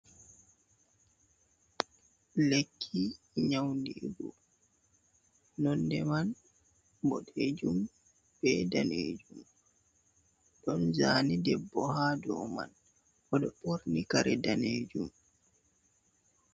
Lekki nyau ndigu nonde man boɗejum ɓe danejum ɗon zane debbo ha do man bodo borni kare danejum.